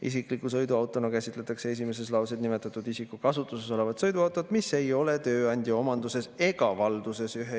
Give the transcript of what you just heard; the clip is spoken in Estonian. Isikliku sõiduautona käsitletakse esimeses lauses nimetatud isiku kasutuses olevat sõiduautot, mis ei ole tööandja omanduses ega valduses.